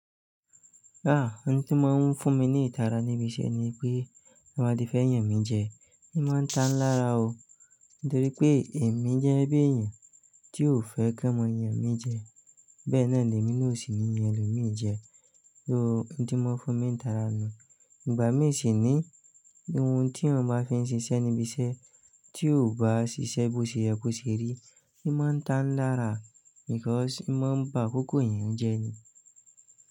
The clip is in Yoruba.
Ah! Ohun tí máa ń fún mi ní ìtara níbi iṣẹ́ ni pé, "tiwọn bati fẹ yàn mí jẹ", í máa ń tàn lára o. Nítorí pé èmi jẹ́ gẹ bí èèyàn tí ò fẹ́ kí ọ mọ yàn mí jẹ. Bẹ́ẹ̀ náà ni èmi na o sì ní yan ẹlòmí jẹ. So ohun tí mọ fún mi ní ìtara nu. Ìgbà mí sì ní, ohun tí èèyàn bá fi ń ṣiṣẹ́ níbi iṣẹ́ tí o bá ṣiṣẹ́ bó ṣe yẹ kó ṣe rí, í máa ń tàn lára. Because ì máa ń ba akókó èèyàn jẹ́ ni.